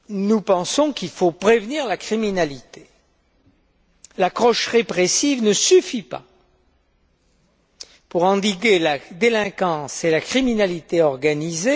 Nous pensons bien entendu qu'il faut prévenir la criminalité. L'approche répressive ne suffit pas pour endiguer la délinquance et la criminalité organisée.